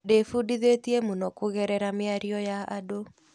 Ndĩbundithĩtie mũno kũgerera mĩario ya andũ.